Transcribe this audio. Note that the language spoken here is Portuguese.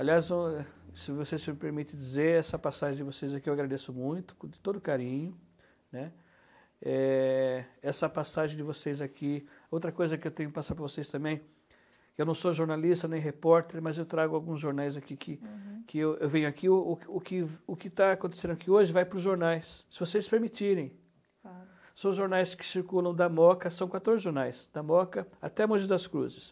aliás ó se vocês me permite dizer essa passagem de vocês aqui eu agradeço muito com todo carinho, né, é essa passagem de vocês aqui outra coisa que eu tenho que passar para vocês também eu não sou jornalista nem repórter mas eu trago alguns jornais aqui que que eu venho aqui o que o que o que está acontecendo aqui hoje vai para os jornais se vocês permitirem são jornais que circulam da Moca são quatorzejornais da moca até Mogi das Cruzes